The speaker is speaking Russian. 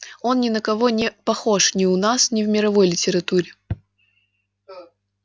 он ни на кого не похож ни у нас ни в мировой литературе